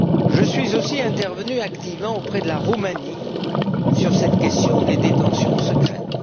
Je suis aussi intervenu activement auprès de la Roumanie sur cette question des détentions secrètes.